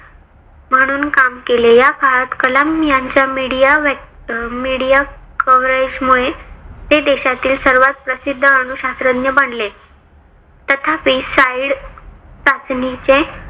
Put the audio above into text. म्हनुन्काम केले. या काळात कलाम यांनी media media coverage मुळे ते देशातील सर्वात प्रसिद्ध अणुशास्त्रज्ञ बनले. तथापि side चाचणीचे